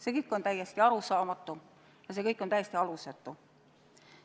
See kõik on täiesti arusaamatu ja see kõik on täiesti alusetu.